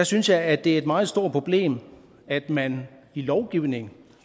synes jeg at det er et meget stort problem at man i lovgivningen